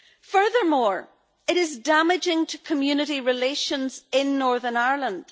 Furthermore, it is damaging to community relations in Northern Ireland.